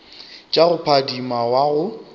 tša go phadima wa go